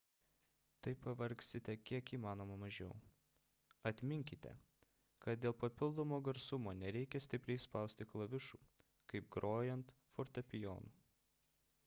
taip pavargsite kiek įmanoma mažiau atminkite kad dėl papildomo garsumo nereikia stipriai spausti klavišų kaip grojant fortepijonu